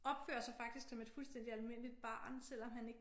Opfører sig faktisk som et fuldstændig almindeligt barn selvom han ikke